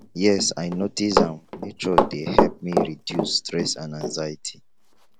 yes i notice am nature dey help me reduce stress and anxiety